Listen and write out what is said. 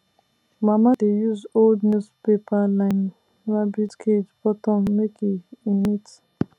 mama dey use old newspaper line rabbit cage bottom make e neat